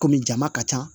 Kɔmi jama ka ca